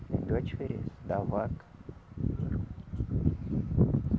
Pior diferença da vaca